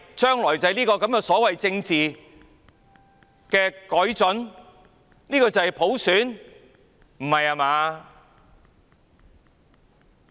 這是香港將來所謂的政治改進，這是普選嗎？